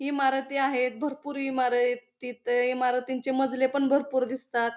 इमारती आहेत भरपूर इमारय ती त इमारतींचे मजले पण भरपूर दिसतात.